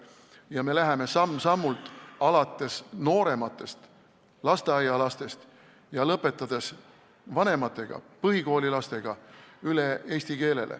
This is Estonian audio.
Siis me läheme samm-sammult alates noorematest, lasteaialastest, ja lõpetades vanematega, põhikoolilastega, üle eesti keelele.